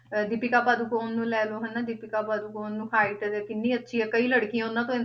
ਅਹ ਦੀਪਿਕਾ ਪਾਦੂਕੋਣ ਨੂੰ ਲੈ ਲਓ ਹਨਾ, ਦੀਪਿਕਾ ਪਾਦੂਕੋਣ ਨੂੰ height ਕਿੰਨੀ ਅੱਛੀ ਆ ਕਈ ਲੜਕੀਆਂ ਉਹਨਾਂ ਤੋਂ